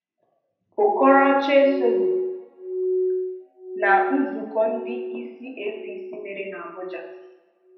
Okorocha esoghị na nzùkọ ndị isi APC mere n’Abuja.